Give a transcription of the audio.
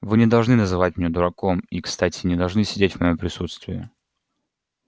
вы не должны называть меня дураком и кстати не должны сидеть в моём присутствии